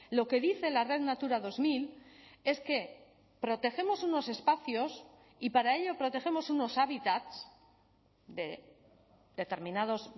lo que dice en la red natura dos mil es que protegemos unos espacios y para ello protegemos unos hábitats de determinados